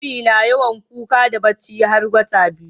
Jariri na yawan kuka da bacci har wata biyu